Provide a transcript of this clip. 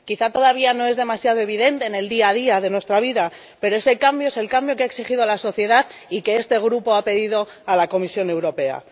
Quizá todavía no es demasiado evidente en el día a día de nuestra vida, pero ese cambio es el cambio que ha exigido la sociedad y que este Grupo ha pedido a la Comisión Europea.